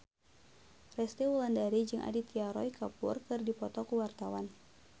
Resty Wulandari jeung Aditya Roy Kapoor keur dipoto ku wartawan